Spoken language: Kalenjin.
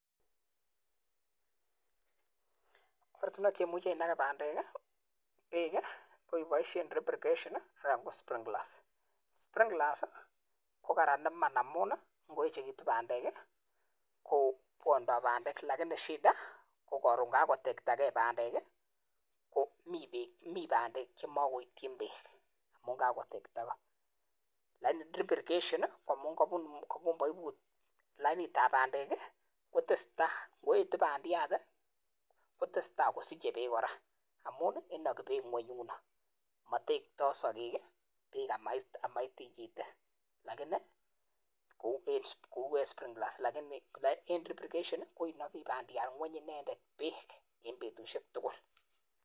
Oratunweek cheumichii inageee pandeeek peeek KO Chang neaaaaaa imuchi ibaisheeen (drop irrigation anan KO sprinkler irrigation) (lakini) ngoeeet pandeeek komamagat kotaginageeeee chotok